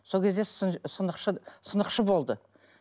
сол кезде сынықшы сынықшы болды